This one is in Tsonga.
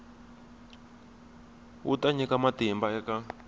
wu ta nyika matimba eka